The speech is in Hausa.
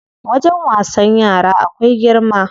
Wajen wasan yara akwai girma.